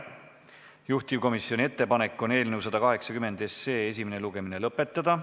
Juhtivkomisjoni ettepanek on eelnõu 180 esimene lugemine lõpetada.